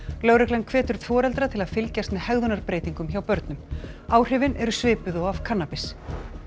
lögreglan hvetur foreldra til að fylgjast með hjá börnum áhrifin eru svipuð og af kannabis